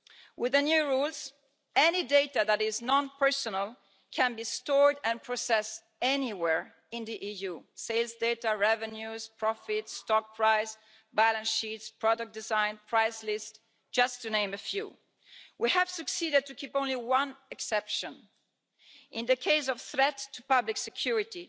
With the new rules, any data that is non personal can be stored and processed anywhere in the EU sales data, revenues, profits, stock prices, balance sheets, product design, price lists to name but a few. We have succeeded in keeping just one exception in the case of a threat to public security,